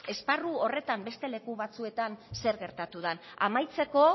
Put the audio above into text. ere esparru horretan beste leku batzuetan zer gertatu dan amaitzeko